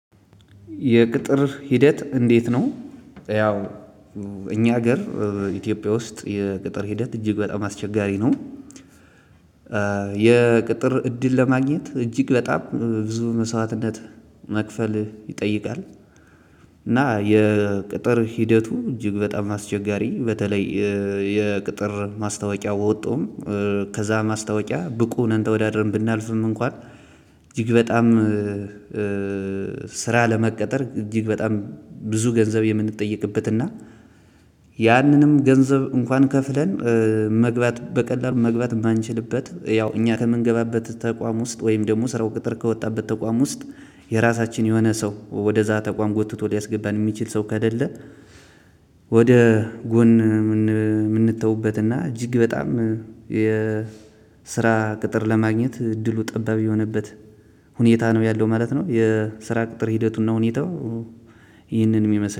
የቅጥር ሂደት እንዴት ነው? ያው እኛ ሀገር ኢትዮጵያ ውስጥ የቅጥር ሂደት እጅግ በጣም አስቸጋሪ ነው። የቅጥር እድል ለማግኘት እጅግ በጣም ብዙ መስዋዕትነት መክፈል ይጠይቃል። እና የቅጥር ሂደቱ እጅግ በጣም አስቸጋሪ በተለይ የቅጥር ማስታወቂያ ወጡም ከዛ ማስታወቂያ ብቁ ነን ተወዳድረን ብናልፍም እንኳን እጅግ በጣም። ስራ ለመቀጠር እጅግ በጣም ብዙ ገንዘብ የምንጠይቅበት እና ያንንም ገንዘብ እንኳን ከፍለን መግባት በቀላሉ መግባት ባንችልበት ያው እኛ ከምንገባበት ተቋም ውስጥ ወይም ደግሞ ስራው ቅጥር ከወጣበት ተቋም ውስጥ የራሳችን የሆነ ሰው ወደዛ ተቋም ጎትቶ ሊያስገባን የሚችል ሰው ከሌለ። ወደ ጎን የምንትውበት እና እጅግ በጣም ስራ ቅጥር ለማግኘት እድሉ ጠባብ የሆነበት ሁኔታ ነው ያለው ማለት ነው። የስራ ቅጥር ሂደቱና ሁኔታው ይህንን የሚመስል